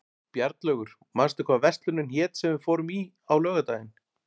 Bjarnlaugur, manstu hvað verslunin hét sem við fórum í á laugardaginn?